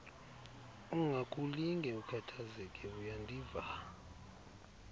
ungakulinge ukhathazeke uyandiva